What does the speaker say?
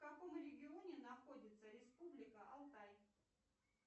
в каком регионе находится республика алтай